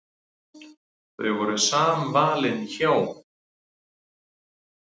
Þau voru samvalin hjón.